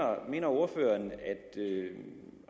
ordføreren at